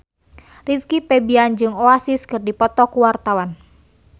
Rizky Febian jeung Oasis keur dipoto ku wartawan